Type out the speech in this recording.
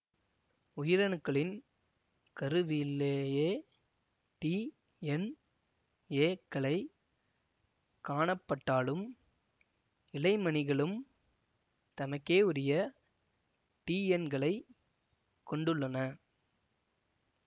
உயிரணுக்களின் கருவிலேயே டிஎன்ஏ க்களை காணப்பட்டாலும் இழைமணிகளும் தமக்கேயுரிய டிஎன்களைக் கொண்டுள்ளன